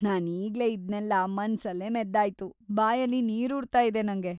ನಾನೀಗ್ಲೇ ಇದ್ನೆಲ್ಲ ಮನ್ಸಲ್ಲೇ ಮೆದ್ದಾಯ್ತು, ಬಾಯಲ್ಲಿ ನೀರೂರ್ತಾ ಇದೆ ನಂಗೆ.